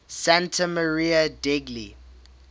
santa maria degli